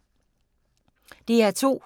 DR2